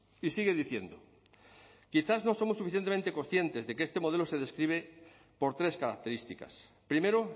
y sigue diciendo quizás no somos suficientemente conscientes de que este modelo se describe por tres características primero